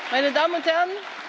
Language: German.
meine Damen und Herren,